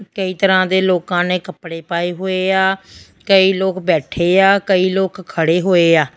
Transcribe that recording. ਕਈ ਤਰ੍ਹਾਂ ਦੇ ਲੋਕਾਂ ਨੇ ਕੱਪੜੇ ਪਾਏ ਹੋਏ ਆ ਕਈ ਲੋਕ ਬੈਠੇ ਆ ਕਈ ਲੋਕ ਖੜੇ ਹੋਏ ਆ।